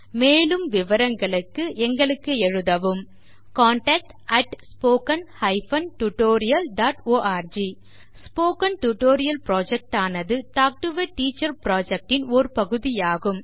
மேலும் விவரங்களுக்கு contactspoken tutorialorg spoken tutorial Project ஆனது talk to a teacher project ன் ஓர் பகுதி ஆகும்